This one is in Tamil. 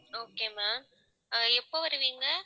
okay ma'am ஆஹ் எப்ப வருவீங்க